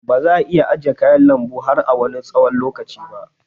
Baza ' a iya ajiye kayan lanbu har na Wani tsawon lokaci ba.